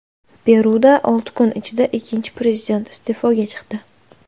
Peruda olti kun ichida ikkinchi prezident iste’foga chiqdi.